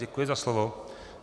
Děkuji za slovo.